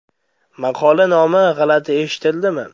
Maqola nomi g‘alati eshitildimi?